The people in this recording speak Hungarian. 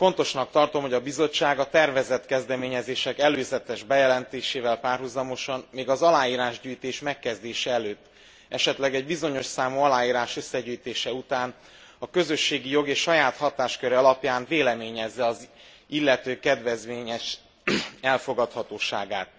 Fontosnak tartom, hogy a Bizottság a tervezett kezdeményezések előzetes bejelentésével párhuzamosan, még az aláírásgyűjtés megkezdése előtt, esetleg egy bizonyos számú aláírás összegyűjtése után a közösségi jog és saját hatásköre alapján véleményezze az illető kedvezményes elfogadhatóságát.